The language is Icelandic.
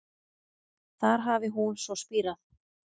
Þar hafi hún svo spírað